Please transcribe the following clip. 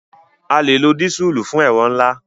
A lè lo dísùlù fún ẹ̀rọ ńlá.